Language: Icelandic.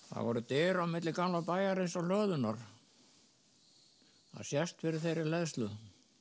það voru dyr á milli gamla bæjarins og hlöðunnar það sést fyrir þeirri hleðslu